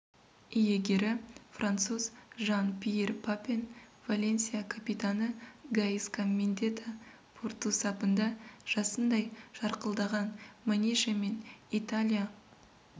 иегері француз жан-пьер папен валенсия капитаны гаиска мендьета порту сапында жасындай жарқылдаған манише мен италия